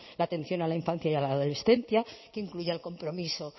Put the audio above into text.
la atención a la infancia y a la adolescencia que incluya el compromiso